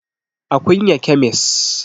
A Kunya kyamis